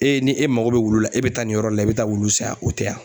E ni e mago bɛ wulu la e bɛ taa nin yɔrɔ la i bɛ taa wulu san yan o tɛ yan.